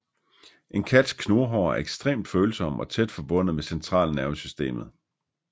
En kats knurhår er ekstremt følsomme og tæt forbundet med centralnervesystemet